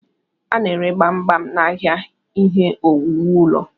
A na-ere gbam gbam n'ahịa ihe owuwu ụlọ.